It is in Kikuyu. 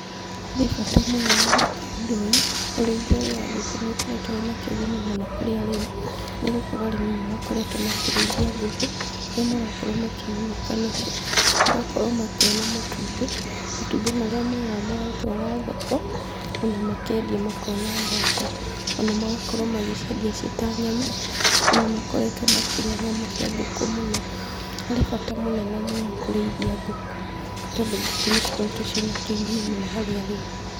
Harĩ bata mũnene gwĩka ũndũ ũyũ. Ũrĩithia ũyũ wa ngũkũ nĩũkoretwo wĩna kĩguni mũno kurĩ arĩmi, nĩ gũkorwo arĩmi nĩ makoretwo makĩrĩithia ngũkũ, kũrĩa marakorwo makĩgunĩka nacio. Magakorwo makĩona matumbĩ, matumbĩ marĩa moyaga magatwara thoko ona makendia makona mbeca. Ona magakorwo magĩciendia ciĩ ta nyama; andũ nĩmakoretwo makĩrĩa nyama cia ngũkũ mũno. Harĩ bata mũnene mũno kũrĩithia ngũkũ tondũ ngũkũ nĩcikoretwo ciĩ na kĩguni mũno harĩ arĩmi.